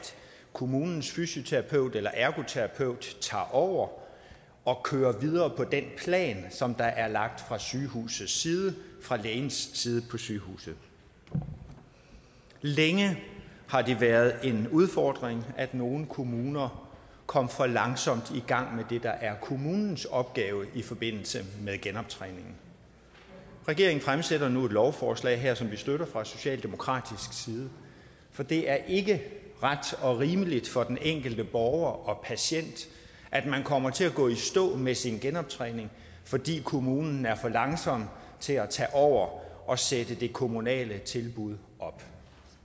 kommunens fysioterapeut eller ergoterapeut tager over og kører videre med den plan der er lagt fra sygehusets side fra lægens side på sygehuset længe har det været en udfordring at nogle kommuner kom for langsomt i gang med det der er kommunens opgave i forbindelse med genoptræningen regeringen fremsætter nu et lovforslag her som vi støtter fra socialdemokratisk side for det er ikke ret og rimeligt for den enkelte borger og patient at man kommer til at gå i stå med sin genoptræning fordi kommunen er for langsom til at tage over og sætte det kommunale tilbud op